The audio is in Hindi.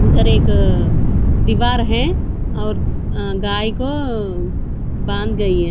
उधर एक दिवार है और अः गाय को बांध दिए है।